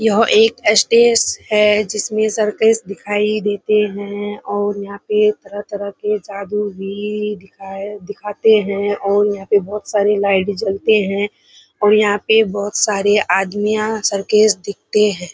यह एक स्टेस हैं जिसमें सर्कस दिखाई देते हैं और यहाँ पे तरह-तरह के जादू भी दिखा दिखाते हैं और यहाँ पे बोहोत सारे लाइट जलते हैं और यहाँ पे बोहोत सारे आदमियाँ सर्कस देखते हैं।